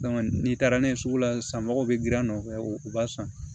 n'i taara n'a ye sugu la sisan mɔgɔw bɛ girin a nɔfɛ u b'a san